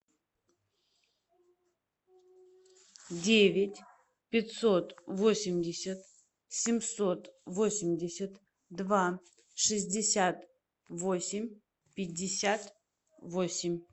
девять пятьсот восемьдесят семьсот восемьдесят два шестьдесят восемь пятьдесят восемь